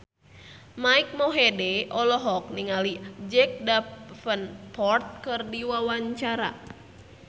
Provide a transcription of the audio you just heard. Mike Mohede olohok ningali Jack Davenport keur diwawancara